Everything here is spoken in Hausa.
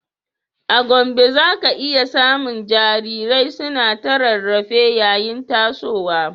A Gombe, za ka iya samun jarirai suna ta rarrafe yayin tasowa